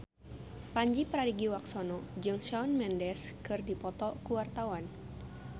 Pandji Pragiwaksono jeung Shawn Mendes keur dipoto ku wartawan